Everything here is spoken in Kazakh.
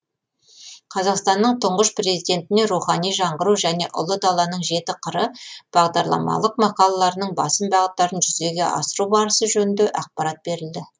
қазақстанның тұңғыш президентіне рухани жаңғыру және ұлы даланың жеті қыры бағдарламалық мақалаларының басым бағыттарын жүзеге асыру барысы жөнінде ақпарат берілді